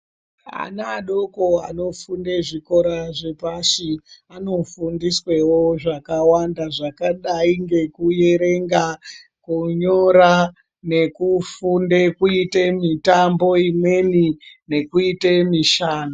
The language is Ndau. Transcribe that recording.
Ana adoko anofunda zvikora zvepashi ano fundiswewo zvakawanda zvakadai ngekuerenga kunyora nekufunda kuita mutambo imweni nekuite mishando.